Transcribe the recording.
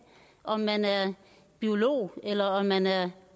om man er biolog eller om man er